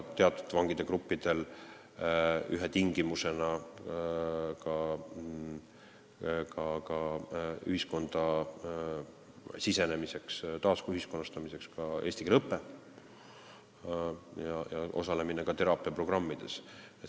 Teatud vangigruppide ühiskonda sisenemise, taasühiskonnastamise üks tingimusi on ka eesti keele õpe ja osalemine teraapiaprogrammides.